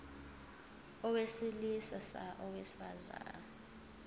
owesili sa owesifa